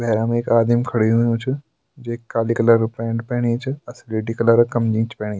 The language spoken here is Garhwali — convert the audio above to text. भैरम एक आदिम खड़ु हुयुं च जेक काली कलर क पेंट पेरी च अर स्लेटी कलर क कमीज पेनी --